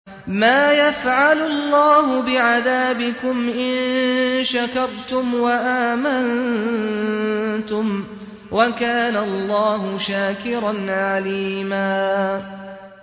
مَّا يَفْعَلُ اللَّهُ بِعَذَابِكُمْ إِن شَكَرْتُمْ وَآمَنتُمْ ۚ وَكَانَ اللَّهُ شَاكِرًا عَلِيمًا